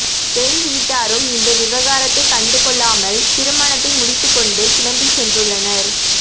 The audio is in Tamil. பெண் வீட்டரும் இந்த விவகாரத்தை கண்டுக்கொள்ளாமல் திருமணத்தை முடித்துக்கொண்டு கிளம்பிசென்றுள்ளனர்